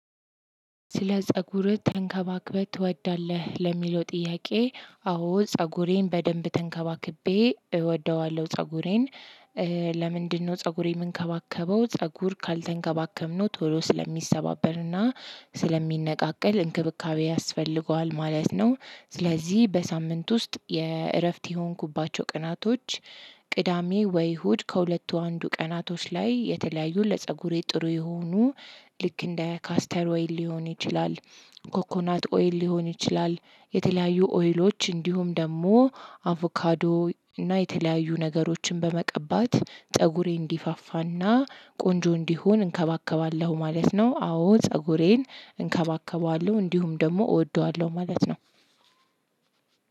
ስለ ፀጉርህ ተንከባክበህ ትወዳለህ ለሚለው ጥያቄ አዎ ፀጉሬን በደንብ ተንከባክቤ እወደዋለሁ ፀጉሬን። ለምንድነው ፀጉሬን የምንከባከበው? ፀጉር ካልተንከባከብነው ቶሎ ስለሚሰባበርና ስለሚነቃቀል እንክብካቤ ያስፈልገዋል ማለት ነው። ስለዚህ በሳምንት ውስጥ የእረፍት የሆንኩባቸው ቀናቶች። ቅዳሜ ወይ እሁድ ከሁለቱ አንዱ ቀናቶች ላይ የተለያዩ ለፀጉሬ ጥሩ የሆኑ ልክ እንደ ካስተርዌይ ሊሆን ይችላል። ኮኮናት ኦይል ሊሆን ይችላል። የተለያዩ ኦይሎች እንዲሁም ደግሞ አቮካዶ እና የተለያዩ ነገሮችን በመቀባት ፀጉሬ እንዲፋፋና ቆንጆ እንዲሆን እንከባከባለሁ ማለት ነው። አዎ ፀጉሬን እንከባከባለሁ እንዲሁም ደግሞ እወደዋለሁ ማለት ነው።